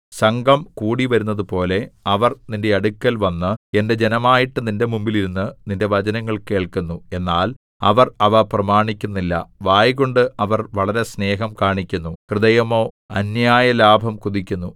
സംഘം കൂടിവരുന്നതുപോലെ അവർ നിന്റെ അടുക്കൽവന്ന് എന്റെ ജനമായിട്ട് നിന്റെ മുമ്പിൽ ഇരുന്ന് നിന്റെ വചനങ്ങൾ കേൾക്കുന്നു എന്നാൽ അവർ അവ പ്രമാണിക്കുന്നില്ല വായ്കൊണ്ട് അവർ വളരെ സ്നേഹം കാണിക്കുന്നു ഹൃദയമോ അന്യായലാഭം കൊതിക്കുന്നു